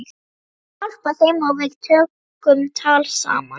Ég gat hjálpað þeim og við tókum tal saman.